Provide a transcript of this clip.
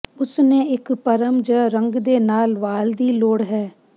ਉਸ ਨੇ ਇੱਕ ਪਰ੍ਮ ਜ ਰੰਗ ਦੇ ਨਾਲ ਵਾਲ ਦੀ ਲੋੜ ਹੈ